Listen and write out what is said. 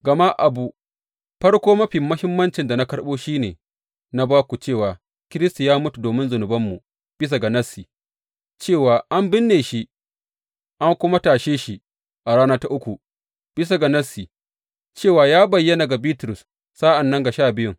Gama abu farko mafi muhimmancin da na karɓo shi ne na ba ku cewa Kiristi ya mutu domin zunubanmu bisa ga Nassi, cewa an binne shi an kuma tashe shi a rana ta uku bisa ga Nassi, cewa ya bayyana ga Bitrus, sa’an nan ga Sha Biyun.